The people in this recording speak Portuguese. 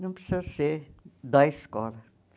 Não precisa ser da escola.